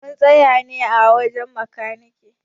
Mun tsaya ne a wajen makanike.